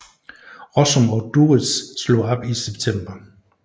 Rossum og Duritz slog op i september 2010